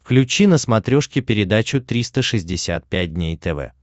включи на смотрешке передачу триста шестьдесят пять дней тв